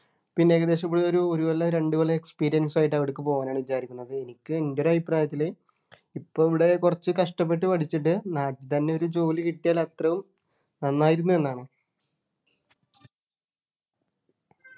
പിന്നെ ഏകദേശം ഇവിടെ ഒരു ഒരു കൊല്ലം രണ്ടുകൊല്ലം experience ആയിട്ട് അവിടേക്ക് പോകാനാണ് വിചാരിക്കുന്നത് എനിക്ക് എൻ്റെ ഒരു അഭിപ്രായത്തിൽ ഇപ്പോ ഇവിടെ കുറച്ച് കഷ്ടപ്പെട്ട് പഠിച്ചിട്ട് നാട്ടിൽ തന്നെ ഒരു ജോലി കിട്ടിയാൽ അത്രയും നന്നായിരിന്നു എന്നാണ്